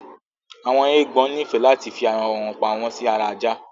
Awọn eégbọn nifẹ láti fi arawọn pàmò sì ara Àjà